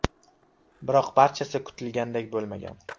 Biroq barchasi kutilganidek bo‘lmagan.